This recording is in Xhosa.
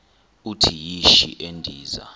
uthi yishi endiza